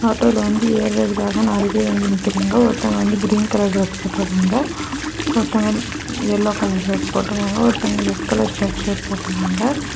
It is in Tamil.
ஆட்டோல வந்து ஏறுறதுக்காக நாலு பேரு வந்து நிக்கிறாங்க ஒருத்தவங்க வந்து கிரீன் கலர் டிரஸ் போட்டுருக்காங்க ஒருத்தவங்க எல்லோ கலர் டிரஸ் போட்டுருக்காங்க ஒருத்தவங்க ரெட் கலர் ஷர்ட் ஷாட் போட்டுருக்காங்க.